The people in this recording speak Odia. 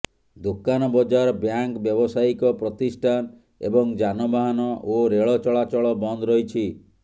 ଦୋକାନବଜାର ବ୍ୟାଙ୍କ ବ୍ୟବସାୟୀକ ପ୍ରତିଷ୍ଠାନ ଏବଂ ଯାନବାହାନ ଓ ରେଳ ଚଳାଚଳ ବନ୍ଦ ରହିଛି